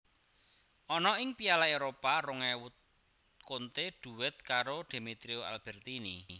Ana ing Piala Éropah rong ewu Conte duet karo Demetrio Albertini